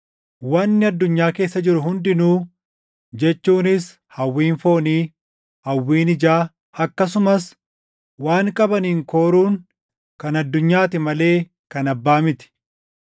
Wanni addunyaa keessa jiru hundinuu jechuunis hawwiin foonii, hawwiin ijaa, akkasumas waan qabaniin kooruun kan addunyaati malee kan Abbaa miti.